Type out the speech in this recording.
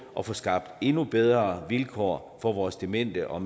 at få skabt endnu bedre vilkår for vores demente og